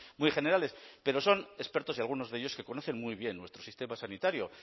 muy generales pero son expertos y algunos de ellos que conocen muy bien nuestro sistema sanitario